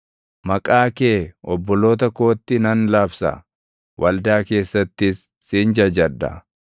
Maqaa kee obboloota kootti nan labsa; waldaa keessattis sin jajadha.